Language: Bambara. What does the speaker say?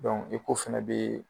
Dɔnkuc eko fana bɛ yen.